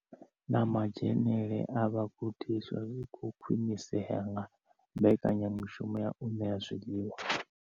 Na madzhenele a vhagudiswa zwi khou khwinisea nga mbekanyamushumo ya u ṋea zwiḽiwa.